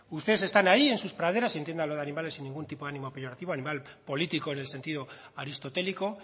ustedes están ahí en sus praderas y entienda lo de animales sin ningún tipo de ánimo peyorativo animal político en el sentido aristotélico